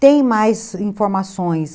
Tem mais informações.